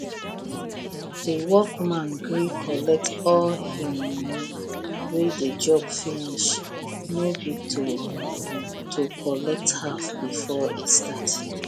the workman gree collect all him money when the job finish no be to to collect half before e start